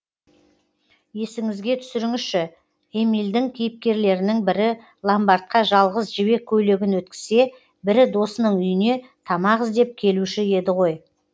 есіңізге түсіріңізші эмильдің кейіпкерлерінің бірі ломбардқа жалғыз жібек көйлегін өткізсе бірі досының үйіне тамақ іздеп келуші еді ғой